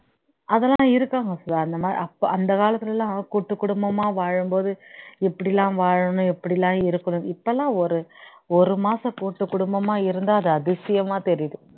அதெல்லாம் இருக்காங்க சுதா அந்த மா அந்த காலத்துல எல்லாம் கூட்டு குடும்பமா வாழும்போது எப்படி எல்லாம் வாழணும் எப்படி எல்லாம் இருக்கணும் இப்பல்லாம் ஒரு ஒரு மாசம் கூட்டு குடும்பமா இருந்தா அது அதிசயமா தெரியுது